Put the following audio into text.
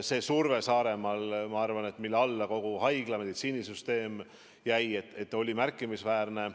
See surve Saaremaal, ma arvan, mille alla kogu haigla- ja meditsiinisüsteem jäi, oli märkimisväärne.